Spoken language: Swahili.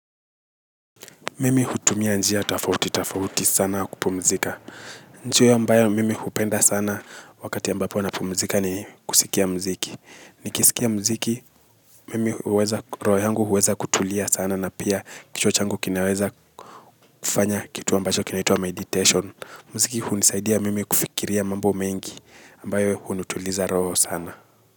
Mimi hutumia njia tofauti tofauti sana kupumzika. Njia ambayo mimi hupenda sana wakati ambapo napumzika ni kusikia muziki. Nikisikia muziki mimi huweza roho yangu huweza kutulia sana na pia kichwa changu kinaweza kufanya kitu ambacho kinaitwa meditation. Muziki hunisaidia mimi kufikiria mambo mengi ambayo hunituliza roho sana.